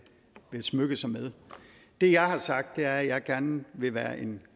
smykke sig med det jeg har sagt er at jeg gerne vil være en